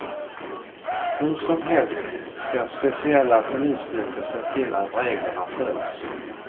Hur som helst ska speciella polisstyrkor se till att reglerna följs.